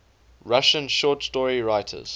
russian short story writers